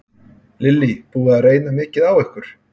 Lillý: Búið að reyna mikið á ykkur?